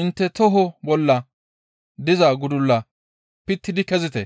intte toho bolla diza gudulla pittidi kezite.